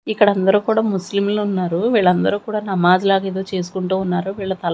ఇక్కడందరూ కూడా ముస్లింలున్నారు వీళ్లందరూ కూడా నమాజ్ లాగా ఏదో చేసుకుంటూ ఉన్నారు వీళ్ళ తల--